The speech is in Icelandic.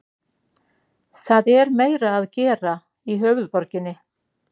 Það er meira að gera í höfuðborginni.